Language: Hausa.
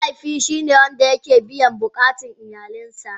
Mahaifi shine wanda ke biyan bukatan iyalansa.